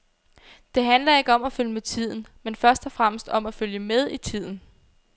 Det handler ikke om at følge med tiden, men først og fremmest om at følge med i tiden.